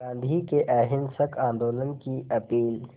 गांधी के अहिंसक आंदोलन की अपील